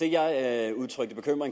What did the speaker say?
det jeg udtrykte bekymring